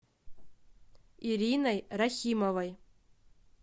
ириной рахимовой